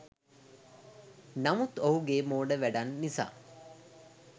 නමුත් ඔහුගේ මෝඩ වැඩන් නිසා